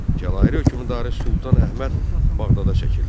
Cəlaliri hökmdarı Sultan Əhməd Bağdada çəkildi.